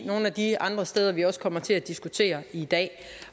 nogle af de andre steder vi også kommer til at diskutere i dag